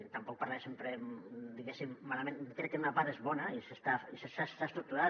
i tampoc parlaré sempre diguéssim malament crec que en una part és bona i s’ha estructurat